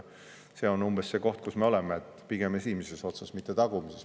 See on see koht, kus me oleme – pigem esimeses otsas, mitte tagumises.